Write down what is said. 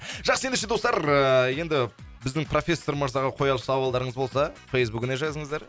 жақсы ендеше достар ыыы енді біздің профессор мырзаға қояр сауалдарыңыз болса фейсбугіне жазыңыздар